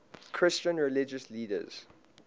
christian religious leaders